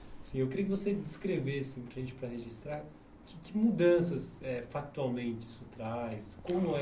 Assim eu queria que você descrevesse para a gente, para registrar, que que mudanças, eh factualmente, isso traz, como é.